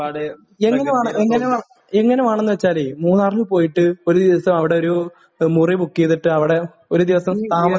എങ്ങനെ വേണം...എങ്ങനെ വേ...എങ്ങനെ വേണമെന്ന് വെച്ചാൽ മൂന്നാറിൽ പോയിട്ട് ഒരു ദിവസം അവിടെയൊരു മുറി ബുക്ക് ചെയ്തിട്ട് അവിടെ ഒരു ദിവസം താമസിക്കണം.